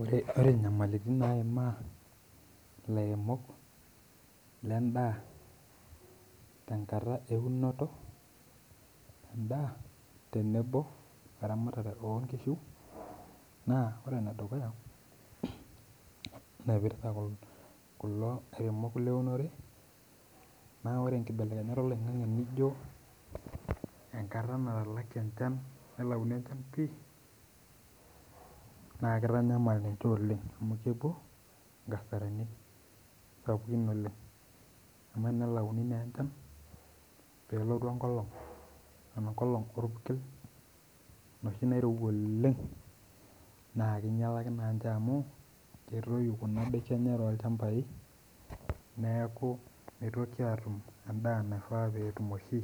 Ore nyamaliiritn naimaa ilairemok le indaa tenkata eunoto endaa tenebo oramatare onkishu naa ore ne dukuya, naipirta kulo lairemok le remore, naa ore enkibelekenyat eloing'ang'e nijo enkarn natalaki enchan, nelauni enchan pii naa keitanyamal ninche oleng, nepo ngasarani oleng, amu enelauni naa enchan pelotu enkolong ana nkolong elpurkel noshi naieruwa oleng, naa keinyalaki naa ninche oleng amu keitoyu kuna indaki enche too ilchambai, neaku meitoki aatum endaa naifaa peetum oshi.